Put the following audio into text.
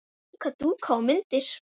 Líka dúka og myndir.